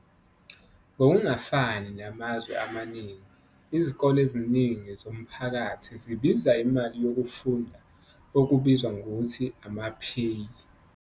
Ngokungafani namazwe amaningi, izikole eziningi zomphakathi zibiza imali yokufunda, okubizwa ngokuthi ama-pay.